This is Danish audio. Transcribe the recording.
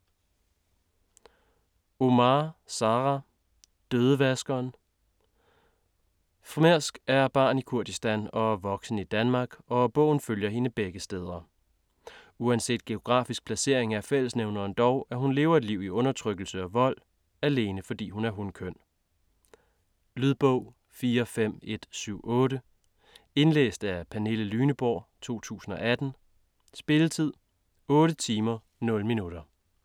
Omar, Sara: Dødevaskeren Frmesk er barn i Kurdistan og voksen i Danmark, og bogen følger hende begge steder. Uanset geografisk placering er fællesnævneren dog, at hun lever et liv i undertrykkelse og vold - alene fordi hun er af hunkøn. Lydbog 45178 Indlæst af Pernille Lyneborg, 2018. Spilletid: 8 timer, 0 minutter.